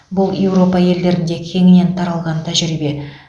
бұл еуропа елдерінде кеңінен таралған тәжірибе